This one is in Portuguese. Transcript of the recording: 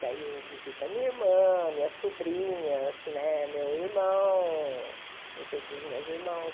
Daí eu visito a minha irmã, minhas sobrinhas né, meu irmão, os outros meus irmãos.